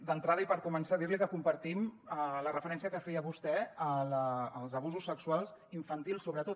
d’entrada i per començar dirli que compartim la referència que feia vostè als abusos sexuals infantils sobretot